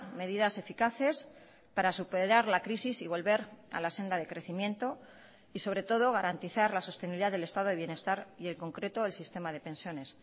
medidas eficaces para superar la crisis y volver a la senda de crecimiento y sobre todo garantizar la sostenibilidad del estado de bienestar y en concreto el sistema de pensiones